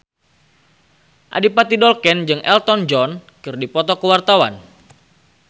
Adipati Dolken jeung Elton John keur dipoto ku wartawan